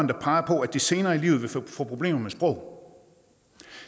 der peger på at de senere i livet vil få problemer med sprog